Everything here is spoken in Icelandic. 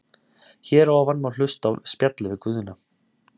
Hér að ofan má hlusta á spjallið við Guðna.